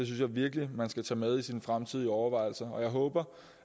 jeg virkelig man skal tage med i sine fremtidige overvejelser og jeg håber